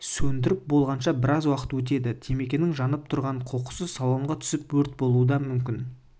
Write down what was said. сөндіріп болғанша біраз уақыт өтеді темекінің жанып тұрған қоқысы салонға түсіп өрт болуы да мүмкін